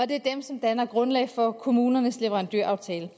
det er dem som danner grundlag for kommunernes leverandøraftaler